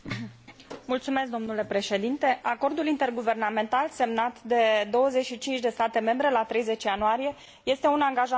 Acordul interguvernamental semnat de 25 de state membre la 30 ianuarie este un angajament pentru întărirea disciplinei fiscale.